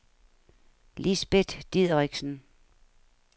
Lisbet Dideriksen